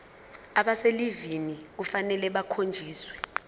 abaselivini kufanele bakhonjiswe